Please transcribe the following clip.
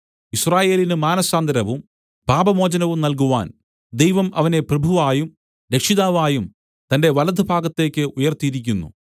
യിസ്രായേലിന് മാനസാന്തരവും പാപമോചനവും നല്കുവാൻ ദൈവം അവനെ പ്രഭുവായും രക്ഷിതാവായും തന്റെ വലതു ഭാഗത്തേക്ക് ഉയർത്തിയിരിക്കുന്നു